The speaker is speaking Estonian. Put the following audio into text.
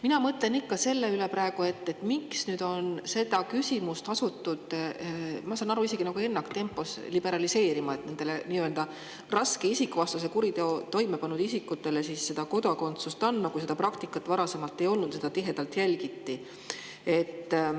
Mina mõtlen praegu ikka selle peale, et miks on seda küsimust asutud, ma saan aru, et isegi ennaktempos liberaliseerima ja raske isikuvastase kuriteo toime pannud isikutele kodakondsust andma, kui sellist praktikat varasemalt ei olnud ja selle tihedalt jälgiti.